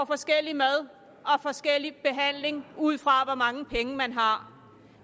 forskellige mad og forskellig behandling ud fra hvor mange penge man har